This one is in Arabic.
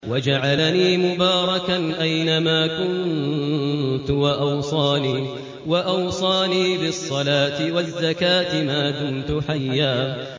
وَجَعَلَنِي مُبَارَكًا أَيْنَ مَا كُنتُ وَأَوْصَانِي بِالصَّلَاةِ وَالزَّكَاةِ مَا دُمْتُ حَيًّا